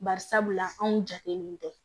Bari sabula anw jatelen tɛ